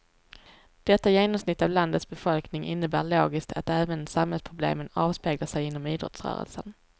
Detta genomsnitt av landets befolkning innebär logiskt att även samhällsproblemen avspeglar sig inom idrottsrörelsen.